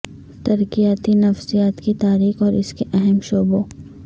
ترقیاتی نفسیات کی تاریخ اور اس کے اہم شعبوں